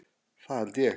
Það held ég